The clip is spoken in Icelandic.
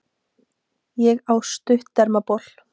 Ég á stuttermabol.